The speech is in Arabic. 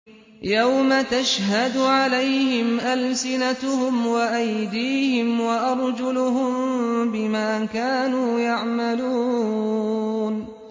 يَوْمَ تَشْهَدُ عَلَيْهِمْ أَلْسِنَتُهُمْ وَأَيْدِيهِمْ وَأَرْجُلُهُم بِمَا كَانُوا يَعْمَلُونَ